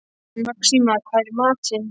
Maxima, hvað er í matinn?